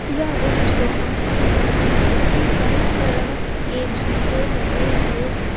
यह एक छोटा सा मेला है जिसमें तरह तरह के झूले लगे हुए हैं।